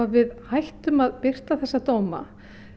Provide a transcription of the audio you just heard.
við hættum að birta þessa dóma